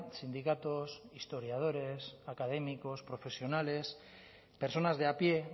sindicatos historiadores académicos profesionales personas de a pie